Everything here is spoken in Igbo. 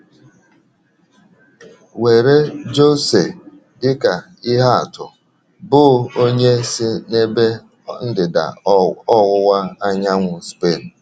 Were José dị ka ihe atu, bụ́ onye si n’ebe ndịda ọwụwa anyanwụ Spen.